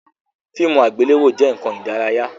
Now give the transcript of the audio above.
Fíìmù àgbéléwò jẹ nkan ìdárayá